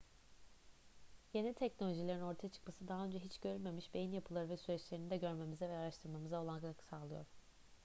yeni teknolojilerin ortaya çıkması daha önce hiç görülmemiş beyin yapıları ve süreçlerini de görmemize ve araştırmamıza olanak sağlıyor